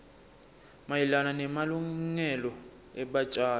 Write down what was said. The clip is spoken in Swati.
mayelana nemalungelo ebatjali